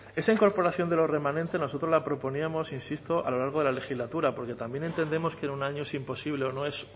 esa incorporación de los remanentes nosotros la proponíamos insisto a lo largo de la legislatura porque también entendemos que en un año es imposible o